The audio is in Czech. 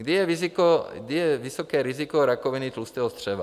Kdy je vysoké riziko rakoviny tlustého střeva?